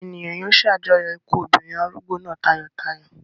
Àwọn ènìyàn yóò ṣàjọyọ̀ ikú obìnrin arúgbó náà tayọ̀tayọ̀.